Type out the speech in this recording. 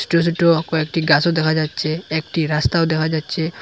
ছোট ছোট কয়েকটি গাছও দেখা যাচ্ছে একটি রাস্তাও দেখা যাচ্ছে।